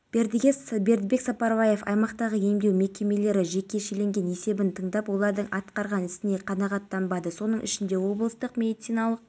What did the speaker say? бірінші рет өткізіліп жатыр біздің облыста әйел адам қиылыста жол қозғалысын көрсетуде сондықтан жүргізушілер мен жаяу